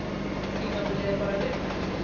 Tímabilið er bara rétt að byrja.